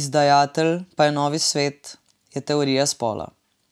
izdajatelj pa je Novi svet, je Teorija spola.